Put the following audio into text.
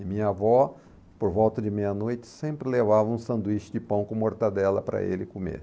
E minha avó, por volta de meia-noite, sempre levava um sanduíche de pão com mortadela para ele comer.